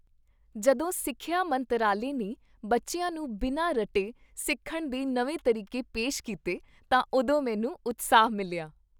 ਜਦੋਂ ਸਿੱਖਿਆ ਮੰਤਰਾਲੇ ਨੇ ਬੱਚਿਆਂ ਨੂੰ ਬਿਨਾਂ ਰੱਟੇ ਸਿੱਖਣ ਦੇ ਨਵੇਂ ਤਰੀਕੇ ਪੇਸ਼ ਕੀਤੇ ਤਾਂ ਉਦੋਂ ਮੈਨੂੰ ਉਤਸ਼ਾਹ ਮਿਲਿਆ ।